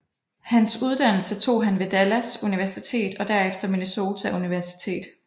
Hans uddannelse tog han ved Dallas Universitet og derefter Minnesota Universitet